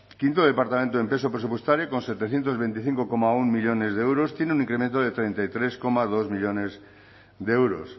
quinto departamento en peso presupuestario con setecientos veinticinco coma uno millónes de euros tiene un incremento de treinta y tres coma dos millónes de euros